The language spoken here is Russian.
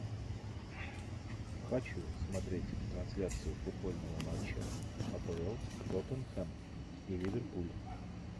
хочу смотреть трансляцию футбольного матча апл тоттенхэм и ливерпуль